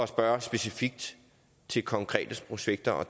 spørge specifikt til konkrete projekter og